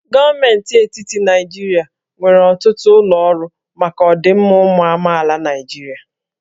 Gọọmenti etiti Naijiria nwere ọtụtụ ụlọ ọrụ maka ọdịmma ụmụ amaala Naịjirịa